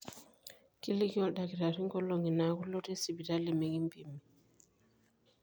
kiliki oldakitarri nkolong'i naaku ilotie sipitali mekimpimi